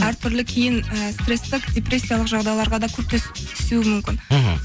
әр түрлі кейін ііі стресстік депрессиялық жағдайларға да түсуі мүмкін мхм